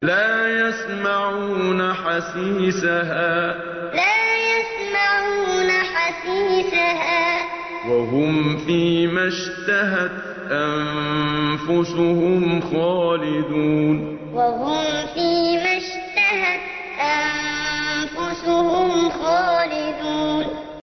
لَا يَسْمَعُونَ حَسِيسَهَا ۖ وَهُمْ فِي مَا اشْتَهَتْ أَنفُسُهُمْ خَالِدُونَ لَا يَسْمَعُونَ حَسِيسَهَا ۖ وَهُمْ فِي مَا اشْتَهَتْ أَنفُسُهُمْ خَالِدُونَ